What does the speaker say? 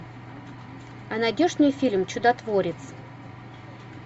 а найдешь мне фильм чудотворец